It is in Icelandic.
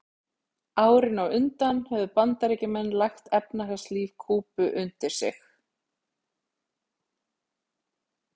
Árin á undan höfðu Bandaríkjamenn lagt efnahagslíf Kúbu undir sig.